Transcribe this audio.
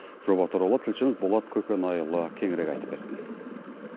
жоба туралы тілшіміз болат көкенайұлы кеңірек айтып берсін